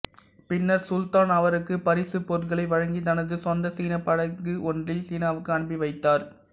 பின்னர் சுல்தான் அவருக்கு பரிசுப் பொருட்களை வழங்கி தனது சொந்த சீனப் படகு ஒன்றில் சீனாவுக்கு அனுப்பி வைத்தார்